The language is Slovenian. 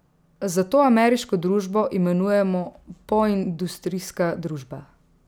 Zato ameriško družbo imenujemo poindustrijska družba.